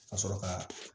Ka sɔrɔ ka